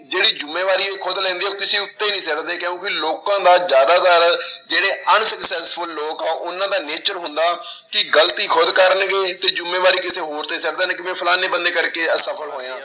ਜਿਹੜੀ ਜ਼ਿੰਮੇਵਾਰੀ ਖੁੱਦ ਲੈਂਦੇ ਹੈ ਕਿਸੇ ਉੱਤੇ ਨੀ ਸੁੱਟਦੇ ਕਿਉਂਕਿ ਲੋਕਾਂ ਦਾ ਜ਼ਿਆਦਾਤਰ ਜਿਹੜੇ unsuccessful ਲੋਕ ਆ ਉਹਨਾਂ ਦਾ nature ਹੁੰਦਾ ਕਿ ਗ਼ਲਤੀ ਖੁੱਦ ਕਰਨਗੇ ਤੇ ਜ਼ਿੰਮੇਵਾਰੀ ਕਿਸੇ ਹੋਰ ਤੇ ਸੁੱਟ ਦੇਣਗੇ ਵੀ ਫਲਾਨੇ ਬੰਦੇ ਕਰਕੇ ਅਸਫ਼ਲ ਹੋਇਆਂ।